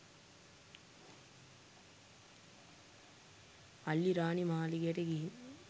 අල්ලිරාණි මාලිගයට ගිහින්